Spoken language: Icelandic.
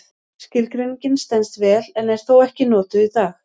Skilgreiningin stenst vel en er þó ekki notuð í dag.